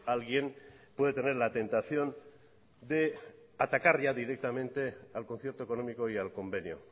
alguien puede tener la tentación de atacar ya directamente al concierto económico y al convenio